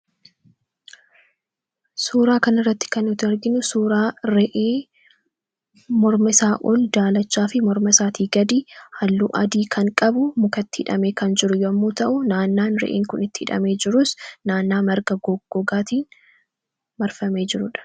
Suuraa kana irratti kan nuti arginu, suuraa re'ee morma isaa ol daalachaa fi morma isaa gadi halluu adii kan qabu mukatti hidhamee kan jiru yemmuu ta'u, naannoon re'een Kun itti hidhamee jirus naannoo marga gogaatiin marfamee jirudha.